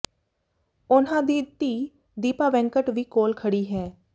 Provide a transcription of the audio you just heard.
ਉਨ੍ਹਾਂ ਦੀ ਧੀ ਦੀਪਾ ਵੈਂਕਟ ਵੀ ਕੋਲ ਖੜੀ ਹੈ